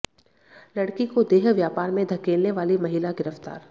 लड़की को देह व्यापार में धकेलने वाली महिला गिरफ्तार